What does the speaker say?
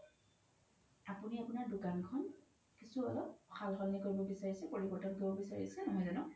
আপোনি আপোনাৰ দুকানখন কিচো অলপ সাল সলনি কৰিব বিচাৰিছে পৰিবৰতন কৰিব বিচাৰিছে নহয় জানো ?